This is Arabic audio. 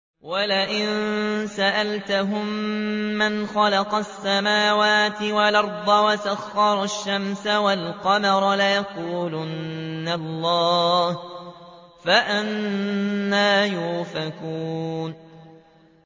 وَلَئِن سَأَلْتَهُم مَّنْ خَلَقَ السَّمَاوَاتِ وَالْأَرْضَ وَسَخَّرَ الشَّمْسَ وَالْقَمَرَ لَيَقُولُنَّ اللَّهُ ۖ فَأَنَّىٰ يُؤْفَكُونَ